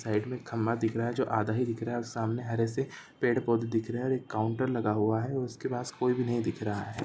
Side मे खम्बा दिख रहा है जो आधा ही दिख रहा है और सामने हरे से पेड़-पौधे दिख रहे है और एक काउंटर लगा हुआ है और उसके पास कोई भी नही दिख रहा है।